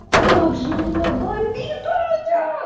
как же у меня бомбит аня